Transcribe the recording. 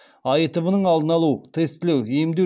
аитв ның алдын алу тестілеу емдеу